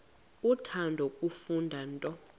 uthanda kufunda nto